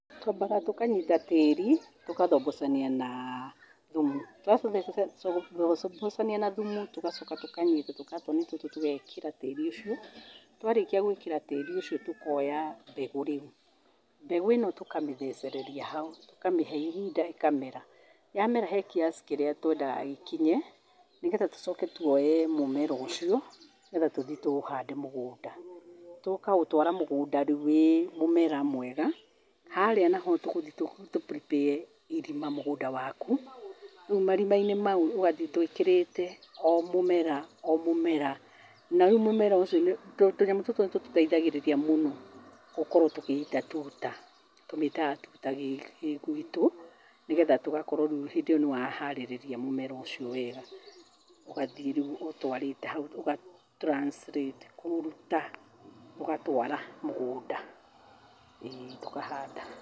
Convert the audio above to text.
Twambaga tũkanyita tĩri tũgathombocania na thumu, twathombocania na thumu tũgacoka tũkanyita tũkatoni tũtũ tũgekĩra tĩri ũcio, twarĩkia gwĩkĩra tĩri ũcio tũkoya mbegũ rĩu, mbegũ tũkamĩthecereria hau tũkamĩhe ihinda ĩkamera, ya mera he kiasi kĩrĩa twendaga gĩkinya nĩgetha twoe mũmera ũcio nĩgetha tũthiĩ tũũhande mũgũnda, tũkaũtwara mũgũnda rĩu wĩ mũmera mwega, harĩa naho tũgũthiĩ tũ prepare ee irima mũgũnda waku, rĩu marima-inĩ mau ũgathiĩ twĩkĩrĩte o mũmera o mũmera na rĩu mũmera ũcio , tũnyamũ tũtũ nĩ tũtũteithagĩrĩria mũno gũkorwo tũgĩita tuta, tũmĩtaga tuta gĩguitũ nĩgetha tũgakorwo rĩu hĩndĩ ĩyo nĩ wa harĩrĩria mũmera ũcio wega ũgathiĩ rĩu ũtwarĩte hau, ũga translate kũũruta ũgatwara mũgũnda ĩĩ ũkahanda.